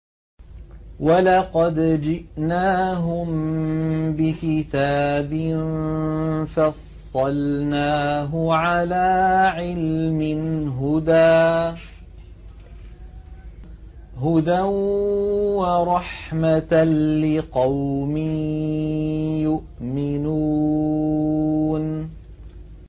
وَلَقَدْ جِئْنَاهُم بِكِتَابٍ فَصَّلْنَاهُ عَلَىٰ عِلْمٍ هُدًى وَرَحْمَةً لِّقَوْمٍ يُؤْمِنُونَ